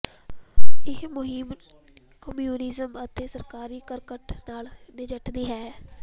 ਇਹ ਮੁਹਿੰਮ ਕਮਿਊਨਿਜ਼ਮ ਅਤੇ ਸਰਕਾਰੀ ਕਰਕਟ ਨਾਲ ਨਜਿੱਠਦੀ ਹੈ